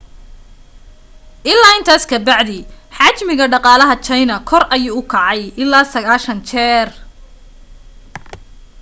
ilaa intaas ka bacdi xajmiga dhaqalaha china kor ayuu kacay ilaa 90 jeer